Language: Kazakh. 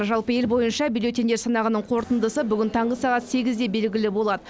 жалпы ел бойынша бюллетеньдерді санағының қорытындысы бүгін таңғы сағат сегізде белгілі болады